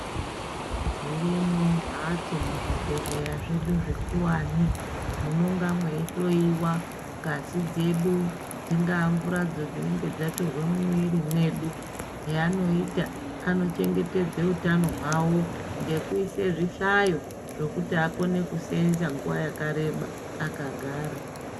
Dzirimwo mhatso muzvibhedhleya zvedu zvikuwani. Munonga mweihloyiwa ngazi dzedu, dzingaa mvuradzo dzinenge dzatorwe mumwiiri mwedu. Heanoita, anochengetedze utano hwavo ngekuise zvihlayo zvokuti akone kuseenza nguva yakareba akagara.